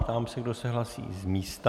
Ptám se, kdo se hlásí z místa.